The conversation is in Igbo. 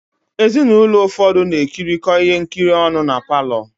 Ezinụlọ ụfọdụ na-ekirikọ ihe nkiri ọnụ na palọ.